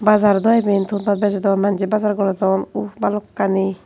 bazar daw iben thon paat bejodon manjey bazar gorodon uhh bhalokkani.